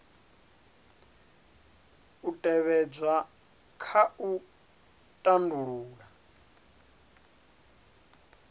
u tevhedzwa kha u tandulula